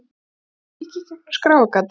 Ég kíki í gegnum skráargatið.